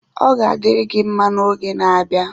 Ọ ga-adịrị gị mma n'oge na-abịa